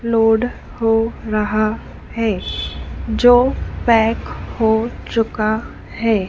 Load हो रहा है जो पैक हो चुका है।